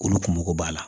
Olu kun mago b'a la